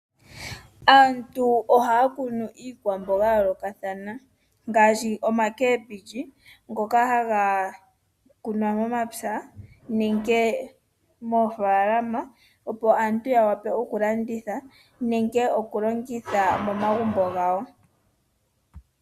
Aantu ohaya kunu iikwamboga ya yoolokathana ngaashi oomboga dhaandowishi ngoka haga kunwa momapya nenge moofaalama opo aantu yawape okulanditha nenge okulongitha momagumbo gawo.